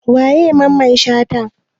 Waye Mamman Shata?